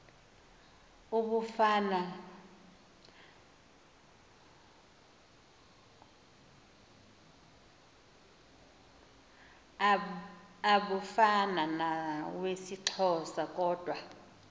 abufana nawesixhosa kodwa